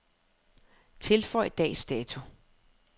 Tilføj dags dato.